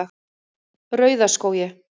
Rauðaskógi